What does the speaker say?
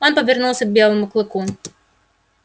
он повернулся к белому клыку